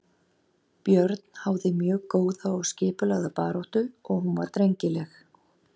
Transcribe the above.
Björn háði mjög góða og skipulagða baráttu og hún var drengileg.